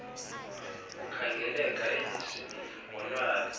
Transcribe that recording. ukhangeleka enesimilo wonwabe